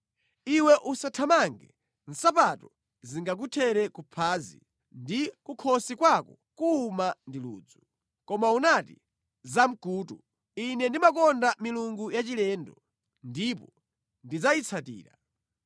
Iwe usathamange, nsapato zingakuthere kuphazi ndi kukhosi kwako kuwuma ndi ludzu. Koma unati, ‘Zamkutu! Ine ndimakonda milungu yachilendo, ndipo ndidzayitsatira.’